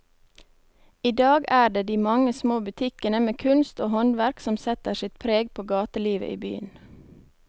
I dag er det de mange små butikkene med kunst og håndverk som setter sitt preg på gatelivet i byen.